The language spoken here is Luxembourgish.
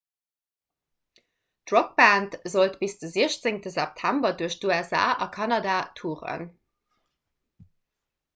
d'rockband sollt bis de 16 september duerch d'usa a kanada touren